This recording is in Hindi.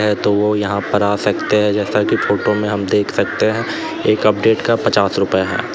तो वो यहां पर आ सकते हैं जैसा की फोटो में हम देख सकते हैं एक अपडेट का पच्चास रुपए है।